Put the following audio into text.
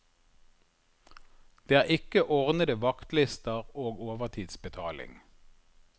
Det er ikke ordnede vaktlister og overtidsbetaling.